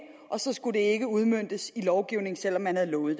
og så skulle det ikke udmøntes i lovgivning selv om man havde lovet